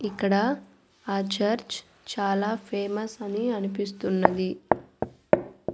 ఇక్కడ ఆ చర్చ్ చాలా ఫేమస్ అని అనిపిస్తున్నది.